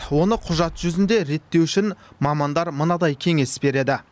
оны құжат жүзінде реттеу үшін мамандар мынадай кеңес береді